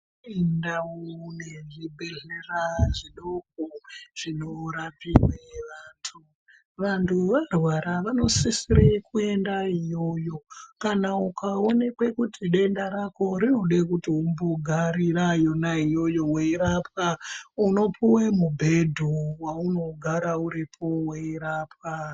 Kune ndau yezvibhedhlera zvidoko zvinorapirwe vantu. Vanhu varwara vanosise kuende iyoyo. Kana ukawonekwa kuti denda rako rinosise kuti umbogarire yona iyoyo weirapwa, unopuwa mubhedhu weunogarireyo weirapwa.